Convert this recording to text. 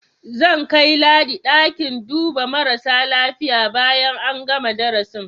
Zan kai Ladi ɗakin duba marasa lafiya bayan an gana darasin.